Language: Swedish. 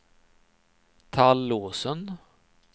Tallåsen